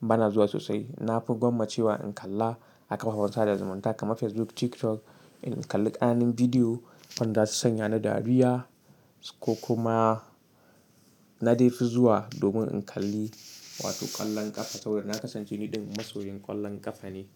bana zuwa sosai. Na fi gwammace wa in kalla a kafafen sada zumunta kamar Facebook, TikTok. In kalli ƙananan bidiyo wanda su sanya na dariya ko kuma na dai fi zuwa domin in kalli, wato kwallon ƙafa saboda na ƙasance niɗin masoyin ƙwallon ƙafa ne.